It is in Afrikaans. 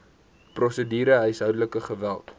prosedure huishoudelike geweld